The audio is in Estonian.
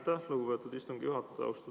Aitäh, lugupeetud istungi juhataja!